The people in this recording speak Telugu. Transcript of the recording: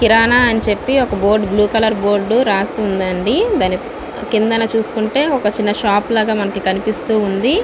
కిరణ్ అని చెపి ఒక బోర్డు బ్లూ కలర్ బోర్డ్ రాసి ఉంది అండి. కింద చూసుకుంటే ఒక చిన్న షాప్ ఉంది.